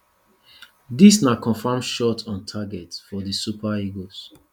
dis na confam shot on target for di super eagles